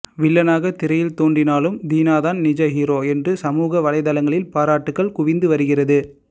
வில்லனாக திரையில் தோன்றினாலும் தீனா தான் நிஜ ஹீரோ என்று சமூகவலைத்தளங்களில் பாராட்டுக்கள் குவிந்து வருகிறது